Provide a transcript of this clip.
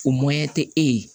O tɛ e ye